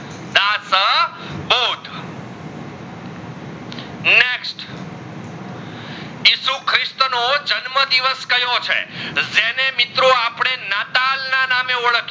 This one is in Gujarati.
ક્રિસ્ત નો જન્મ દિવસ કયો છે? જેણે મિત્રો અપડે નાતાલ ના નામ એ ઓડખીએ